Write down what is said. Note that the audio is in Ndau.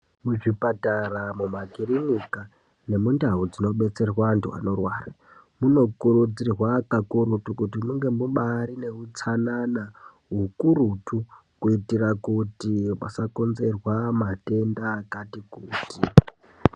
Muzvipatara mumakirinika nemundau dzinobetserwa antu anorwara, munokurudzirwa kakurutu kuti munge mubaari neutsanana, hukurutu kuitira kuti pasakonzerwa matenda kati kuti.